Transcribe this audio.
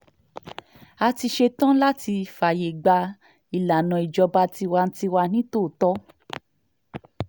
a ti ṣetán láti fààyè gba ìlànà ìjọba tiwa-n-tiwa nítòótọ́